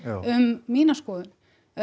um mína skoðun